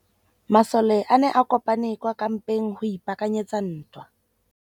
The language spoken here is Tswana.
Masole a ne a kopane kwa kampeng go ipaakanyetsa ntwa.